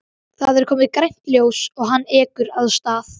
Það er komið grænt ljós og hann ekur af stað.